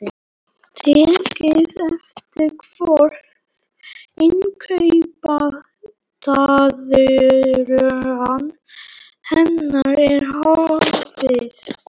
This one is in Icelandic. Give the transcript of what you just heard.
Takið eftir hvað innkaupatuðran hennar er hófstillt.